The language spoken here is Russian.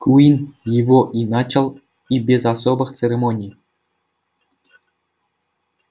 куинн его и начал и без особых церемоний